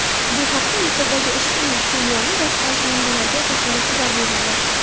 Bu haqda Misrdagi ushbu suv yo‘lini boshqarish manbalariga asoslanib xabar berilgan.